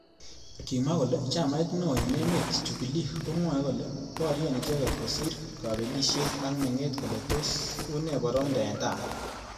Kimwa kole chamait neo eng emet Jubilkomwae kole borye icheket kosir kabelishet ak.menget kole tos une boroindo eng tai.